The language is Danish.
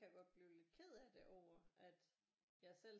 Kan jeg godt blive lidt ked af det over at jeg selv